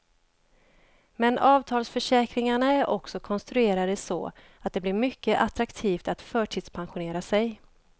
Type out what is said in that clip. Men avtalsförsäkringarna är också konstruerade så, att det blir mycket attraktivt att förtidspensionera sig.